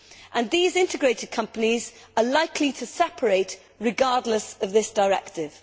and these integrated companies are likely to separate regardless of this directive.